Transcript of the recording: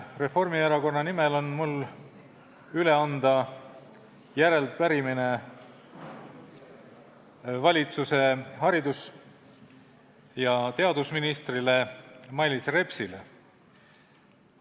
Reformierakonna nimel on mul üle anda arupärimine valitsuse haridus- ja teadusministrile Mailis Repsile.